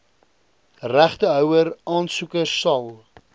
regtehouer aansoekers sal